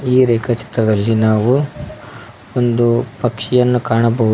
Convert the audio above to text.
ಈ ರೇಖಾ ಚಿತ್ರದಲ್ಲಿ ನಾವು ಒಂದು ಪಕ್ಷಿಯನ್ನು ಕಾಣಬಹುದು.